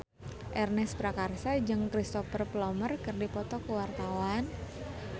Ernest Prakasa jeung Cristhoper Plumer keur dipoto ku wartawan